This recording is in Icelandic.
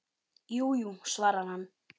Jú, jú, svarar hann.